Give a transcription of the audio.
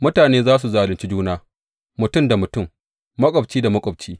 Mutane za su zalunci juna mutum da mutum, maƙwabci da maƙwabci.